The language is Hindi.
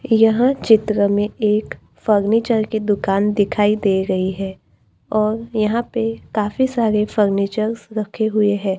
यहां चित्र में एक फर्नीचर की दुकान दिखाई दे रही है और यहां पे काफी सारे फर्नीचर्स रखे हुए है।